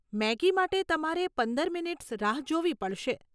Maggi માટે તમારે પંદર મિનીટ્સ રાહ જોવી પડશે.